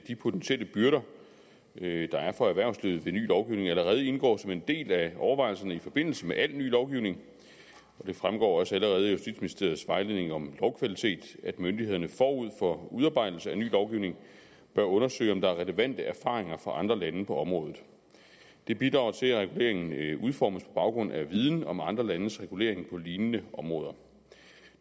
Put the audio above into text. de potentielle byrder der er for erhvervslivet ved ny lovgivning allerede indgår som en del af overvejelserne i forbindelse med al ny lovgivning det fremgår også allerede af justitsministeriets vejledning om lovkvalitet at myndighederne forud for udarbejdelse af ny lovgivning bør undersøge om der er relevante erfaringer fra andre lande på området det bidrager til at reguleringen udformes på baggrund af viden om andre landes regulering på lignende områder